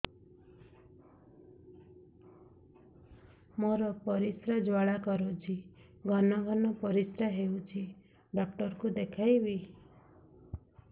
ମୋର ପରିଶ୍ରା ଜ୍ୱାଳା କରୁଛି ଘନ ଘନ ପରିଶ୍ରା ହେଉଛି ଡକ୍ଟର କୁ ଦେଖାଇବି